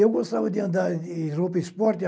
Eu gostava de andar em roupa esporte.